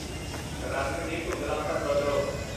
ਰੰਗ ਦੀ ਧੁੰਦਲਾਪਨ ਬਦਲੋ